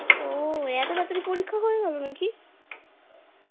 ওএত তাড়াতাড়ি পরীক্ষা হয়ে গেলো নাকি ?